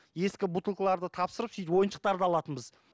ескі бутылкаларды тапсырып сөйтіп ойыншықтарды алатынбыз